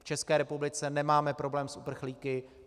V České republice nemáme problém s uprchlíky.